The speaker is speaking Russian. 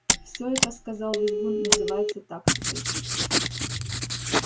всё это сказал визгун называется тактикой